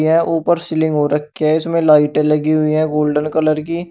यह ऊपर सीलिंग हो रखी है इसमें लाइटे लगी हुई है गोल्डन कलर की।